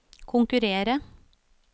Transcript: konkurrere